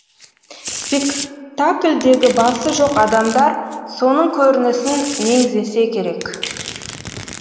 спектакльдегі басы жоқ адамдар соның көрінісін меңзесе керек